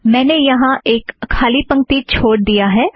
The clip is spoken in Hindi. मैंने यहाँ एक खाली पंक्ति छोड़ दिया है